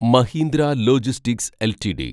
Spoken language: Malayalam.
Mahindra logistics LTD